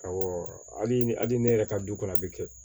Awɔ hali ni hali ne yɛrɛ ka du kɔnɔ a bi kɛ